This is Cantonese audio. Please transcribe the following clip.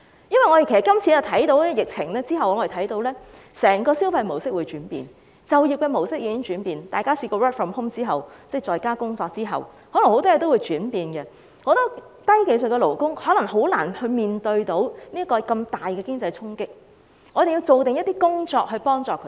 因為我們看到在這次疫情後，整個消費模式將會轉變，就業模式亦已轉變，大家曾經 work from home 後，很多事情可能都會改變，但許多低技術勞工可能難以面對如此大的衝擊，所以我們要做一些準備工夫去幫助他們。